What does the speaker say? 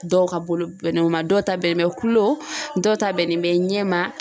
Dɔw ka bolo bɛnnen o ma dɔw ta bɛnnen bɛ kulo dɔw ta bɛnnen bɛ ɲɛma.